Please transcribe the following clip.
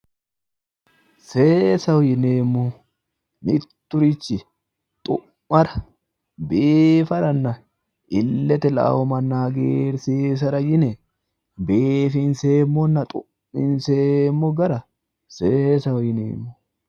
seesaho yineemmorichi mitturichi xu'maranna biifara illete la'anno manna hagiirsiisara yine biifinseemmonnna xu'minseemmo gara seesaho yineemmo.